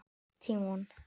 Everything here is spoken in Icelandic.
Tímon